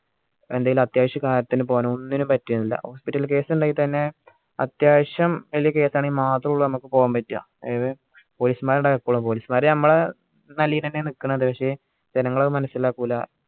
എന്തേലും അത്യാവശ്യ കാര്യത്തിന് പോവാനും ഒന്നിനും പറ്റില്ല hospital case ഇണ്ടെങ്കി തന്നെ ആത്യാവിശ്യം വെല്യ case ആണെങ്കി മാത്രുള്ളൂ നമ്മക്ക് പോകാൻ പറ്റ ഏത് police മാർ ഇണ്ടാവും എപ്പോളും police മാർ മ്മളെ നല്ലെന് എന്നയ നികുന്നെ പക്ഷെ ജനങ്ങൾ അത് മനസിലാകൂല